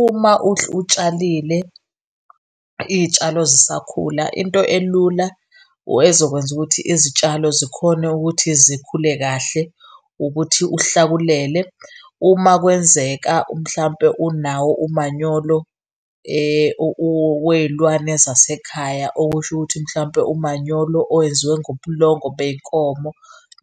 Uma utshalile iy'tshalo zisakhula, into elula ezokwenza ukuthi izitshalo zikhone ukuthi zikhule kahle ukuthi uhlakulele. Uma kwenzeka mhlawumpe unawo umanyolo wey'lwane zasekhaya okusho ukuthi mhlawumpe umanyolo owenziwe ngobulongo bey'nkomo